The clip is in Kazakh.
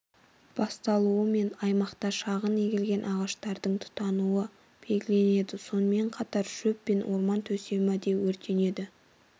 басталуымен аймақта шағын егілген ағаштардың тұтануы белгіленді сонымен қатар шөп пен орман төсемі де өрттенді